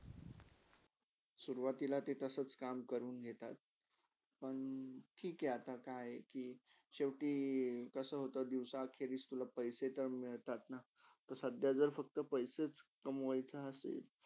सुरवातीला ते तसाच काम करून घेतात मंग ठीक हाय आता काय कि शेवटी कसा होता दिवसात खेळीच at least तुला पैसे मिलतातना अता फक्त पैसच कमोयाचा असेल.